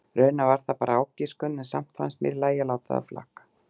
Raunar var það bara ágiskun en samt fannst mér í lagi að láta það flakka.